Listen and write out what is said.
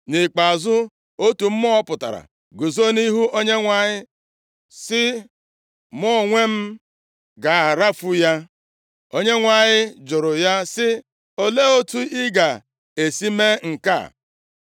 Nʼikpeazụ, otu mmụọ pụtara guzo nʼihu Onyenwe anyị sị, ‘Mụ onwe m ga-arafu ya.’ “ Onyenwe anyị jụrụ ya sị, ‘Olee otu ị ga-esi mee nke a?’